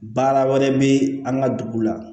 Baara wɛrɛ bɛ an ka dugu la